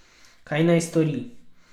Kaj naj stori?